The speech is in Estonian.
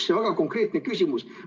Mul on väga konkreetne küsimus.